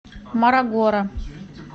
морогоро